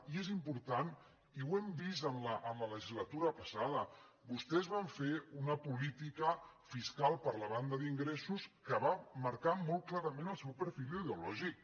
i és important i ho hem vist en la legislatura passada vostès van fer una política fiscal per la banda d’ingressos que va marcar molt clarament el seu perfil ideològic